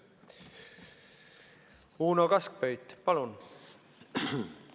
Uno Kaskpeit, palun!